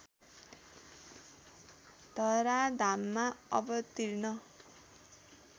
धराधाममा अवतीर्ण